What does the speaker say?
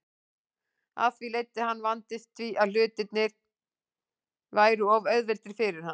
Af því leiddi að hann vandist því að hlutirnir væru of auðveldir fyrir hann.